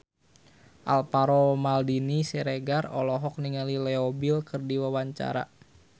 Alvaro Maldini Siregar olohok ningali Leo Bill keur diwawancara